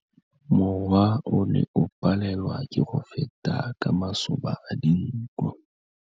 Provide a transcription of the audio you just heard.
Mowa o ne o palelwa ke go feta ka masoba a dinko.